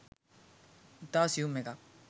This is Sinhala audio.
ඉතා සියුම් එකක්